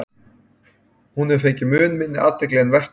hún hefur fengið mun minni athygli en vert væri